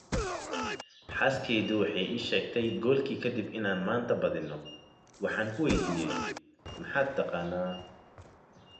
“Xaaskaydu waxay ii sheegtay goolkii ka dib in aan maanta badino, waxaan ku waydiiyay ‘maxaad taqaanaa?